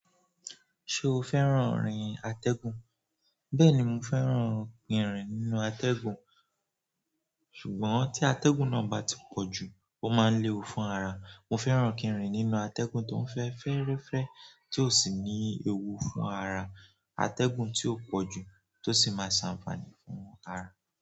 Ṣé o fẹ́ràn rin atẹ́gùn? Bẹ́ẹ̀ni, mo fẹ́ràn kí ń rìn nínú atẹ́gùn. Ṣùgbọ́n tí atẹ́gùn náà bá ti pọ̀ jù, ó máa ń léwu fún ara. Mo fẹ́ràn kí ń rìn nínú atẹ́gùn tó n fẹ́ fẹ́rẹ́fẹ́ tí ò sì ní ewu fún ara. Atẹ́gùn tí ó pọ̀jù tó sì máa ń ṣàǹfààní fún ara.